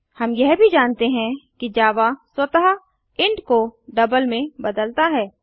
हम यह भी जानते हैं कि जावा स्वतः इंट को डबल में बदलता है